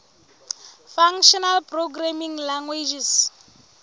functional programming languages